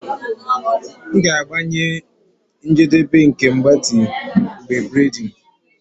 M ga-agbanye njedebe nke mgbatị m mgbe braiding